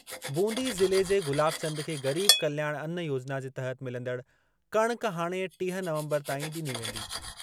बूंदी ज़िले जे गुलाब चंद खे गरीब कल्याण अन्न योजना जे तहत मिलंदड़ कणक हाणे टीह नवंबर ताईं ॾिनी वेंदी।